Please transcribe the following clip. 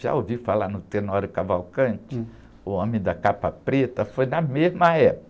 Já ouvi falar no Tenório Cavalcanti?um. homem da capa preta? Foi na mesma época.